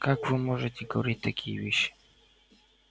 как вы можете говорить такие вещи